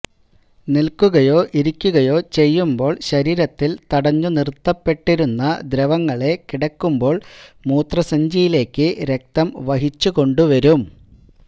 നിൽക്കുയോ ഇരിക്കുകയോ ചെയ്യുമ്പോൾ ശരീരത്തിൽ തടഞ്ഞുനിറുത്തപ്പെട്ടിരുന്ന ദ്രവങ്ങളെ കിടക്കുമ്പോൾ മൂത്രസഞ്ചിയിലേക്ക് രക്തം വഹിച്ചുകൊണ്ടുവരും